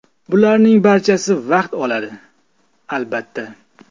Bularning barchasi vaqt oladi, albatta.